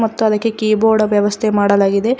ಮತ್ತು ಅದಕ್ಕೆ ಕಿಬೋರ್ಡ್ ವ್ಯವಸ್ಥೆ ಮಾಡಲಾಗಿದೆ.